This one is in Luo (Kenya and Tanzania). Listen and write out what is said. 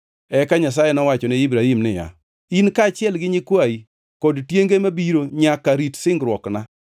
Eka Nyasaye nowacho ne Ibrahim niya, “In kaachiel gi nyikwayi kod tienge mabiro nyaka rit singruokna.